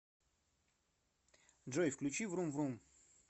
джой включи врум врум